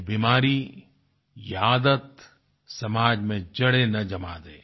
ये बीमारी ये आदत समाज में जड़ें न जमा दें